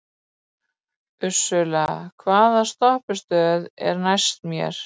Ursula, hvaða stoppistöð er næst mér?